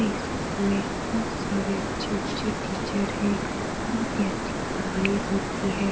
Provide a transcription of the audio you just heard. ये स्कूल में बहुत सारे अच्छे-अच्छे टीचर हैं बहुत ही अच्छी पढाई होती है।